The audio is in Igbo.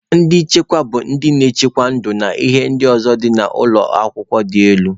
Ndị nche bụ ndị na-echekwa ndụ na ihe ndị ọzọ dị n'ụlọ akwụkwọ dị elu.